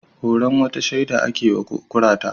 Horon wata shida ake wa kurata